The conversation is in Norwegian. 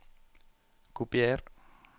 Kopier